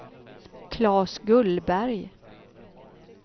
Klas Gullberg